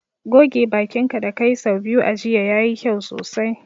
Goge bakin ka da ka yi sau biyu a jiya, ya yi kyau sosai.